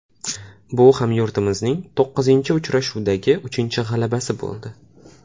Bu hamyurtimizning to‘qqizinchi uchrashuvdagi uchinchi g‘alabasi bo‘ldi.